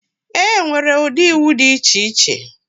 Enwere ụdị iwu dị iche iche.